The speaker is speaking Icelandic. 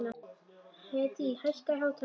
Hedí, hækkaðu í hátalaranum.